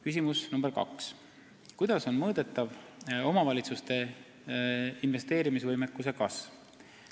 Küsimus nr 2: "Kuidas on mõõdetav omavalitsuste investeerimisvõimekuse kasv?